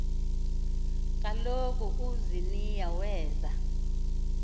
kaloku uziniya weza